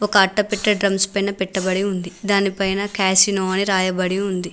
ఒక అట్టేపెట్టె డ్రమ్స్ పైన పెట్టబడి ఉంది దానిపైన క్యాషినో అని రాయబడి ఉంది.